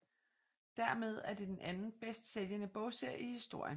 Dermed er det den anden bedst sælgende bogserie i historien